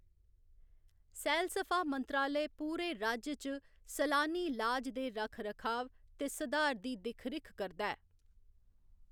सैलसफा मंत्रालय पूरे राज्य च सलानी लाज दे रक्खरखाव ते सधार दी दिक्ख रिक्ख करदा ऐ।